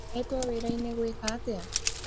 Etwo wĩra-inĩ gwĩka atĩa?